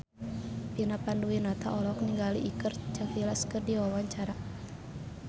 Vina Panduwinata olohok ningali Iker Casillas keur diwawancara